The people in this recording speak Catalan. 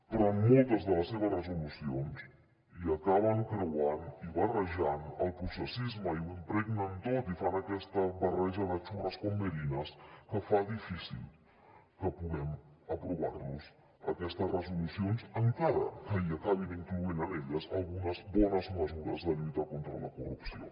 però en moltes de les seves resolucions hi acaben creuant i barrejant el processisme i ho impregnen tot i fan aquesta barreja de churras con merinas que fa difícil que puguem aprovar los aquestes resolucions encara que acabin incloent en elles algunes bones mesures de lluita contra la corrupció